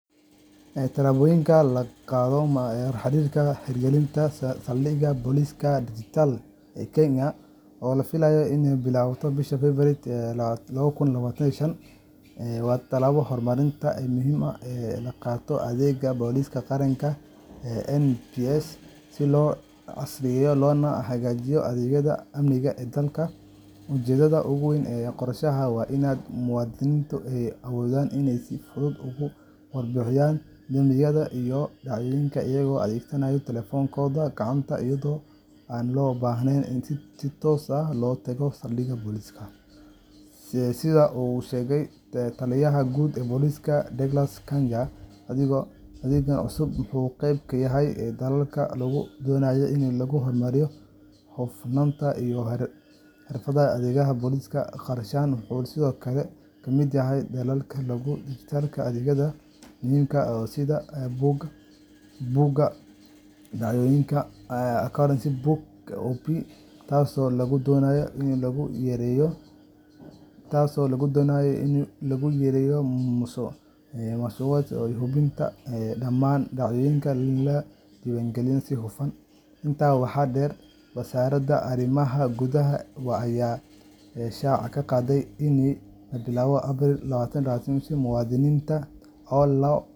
Tillaabooyinka la qaadayo ee la xiriira hirgelinta Saldhigyada Booliska Dijitaalka ah ee Kenya, oo la filayo in la bilaabo bisha Febraayo 2025, waa tallaabo horumarineed oo muhiim ah oo ay qaadayso Adeegga Booliska Qaranka NPS si loo casriyeeyo loona hagaajiyo adeegyada amniga ee dalka. Ujeeddada ugu weyn ee qorshahan waa in muwaadiniintu ay awoodaan inay si fudud uga warbixiyaan dambiyada iyo dhacdooyinka iyagoo adeegsanaya taleefannadooda gacanta, iyada oo aan loo baahnayn in si toos ah loo tago saldhigyada booliska. Sida uu sheegay Taliyaha Guud ee Booliska, Douglas Kanja, adeeggan cusub wuxuu qeyb ka yahay dadaallada lagu doonayo in lagu horumariyo hufnaanta iyo xirfadda adeegyada booliska. Qorshahan wuxuu sidoo kale ka mid yahay dadaallada lagu dijitallaynayo adeegyada muhiimka ah sida Buugga Dhacdooyinka Occurrence Book OB, taasoo lagu doonayo in lagu yareeyo musuqmaasuqa iyo in la hubiyo in dhammaan dhacdooyinka la diiwaangeliyo si hufan .Intaa waxaa dheer, Wasaaradda Arrimaha Gudaha ayaa shaaca ka qaaday in laga bilaabo Abriil 2025, muwaadiniinta aan loo.